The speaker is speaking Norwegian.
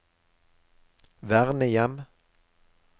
vernehjem